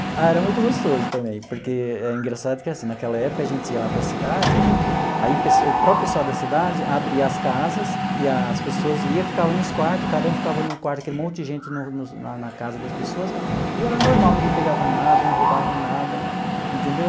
Ah, era muito gostoso também, porque é engraçado que assim, naquela época a gente ia lá para a cidade, aí o próprio pessoal da cidade abria as casas e as pessoas ia, e ficava nos quartos, cada um ficava num quarto, aquele monte de gente no no na na casa das pessoas, e era normal, ninguém pegava nada, não roubava nada, entendeu?